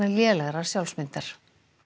lélegrar sjálfsmyndar